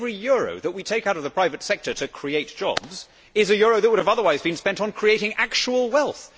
Every euro that we take out of the private sector to create jobs is a euro that would have otherwise been spent on creating actual wealth.